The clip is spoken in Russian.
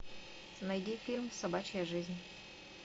найди фильм собачья жизнь